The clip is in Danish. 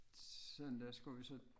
Søndag skulle vi så